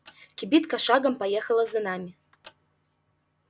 кибитка шагом поехала за нами